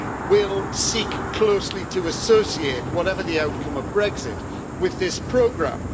will seek closely to associate whatever the outcome of Brexit with this programme.